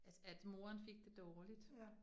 At at moren fik det dårligt